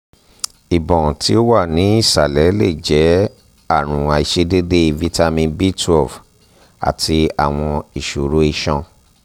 ibọn um ti o wa ni isalẹ le jẹ um aarun aiṣedede vitamin b twelve ati awọn iṣoro iṣan